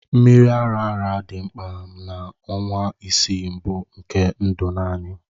Mmiri ara ara dị mkpa na ọnwa isii mbụ nke ndụ naanị